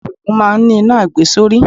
Alùpùpù máa ń ní iná àgbesórí.